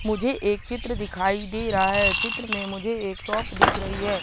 मुझे एक चित्र दिखाई दे रहा है। चित्र में मुझे एक शॉप दिख रही है।